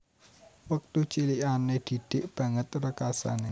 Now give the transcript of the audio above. Wektu cilikane Didik banget rekasane